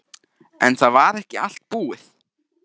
En það var ekki allt búið.